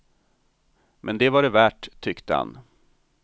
Men det var det värt, tyckte han.